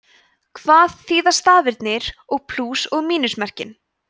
hvað þýða stafirnir og plús og mínusmerkin